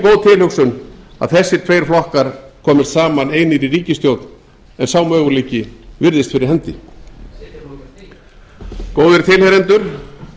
góð tilhugsun að þessir tveir flokkar komist saman einir í ríkisstjórn en sá möguleiki virðist fyrir hendi góðir tilheyrendur